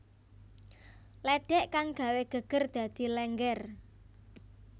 lédhék kang gawé gégér dadi Lénggér